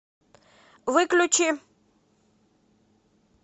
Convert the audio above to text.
выключи